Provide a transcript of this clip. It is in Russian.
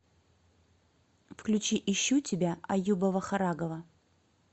включи ищу тебя аюба вахарагова